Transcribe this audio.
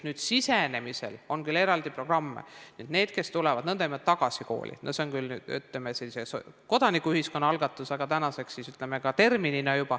Kooli sisenemisel on küll eraldi programm nendele, kes tulevad n-ö tagasi kooli, see on küll kodanikuühiskonna algatus, aga tänaseks on see juba termin.